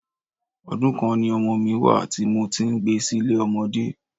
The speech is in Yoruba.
Ọdún kan ni ọmọ mi wá à tí mo ti ń gbé sile ọmọdé.